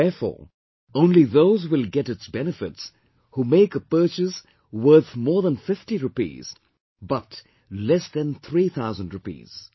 Therefore only those will get its benefits who make a purchase worth more than 50 rupees but less than three thousand rupees